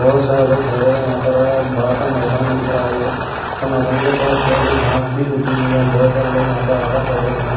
बहुत सारे लोग ठहरे हुए हैं यहां पर बड़ा सा मैदान है दिख रहा है ये और मैदान के पास छोटे से घास भी उगी हुई है बहुत सारे लोग यहां पर ठहरे हुए हैं।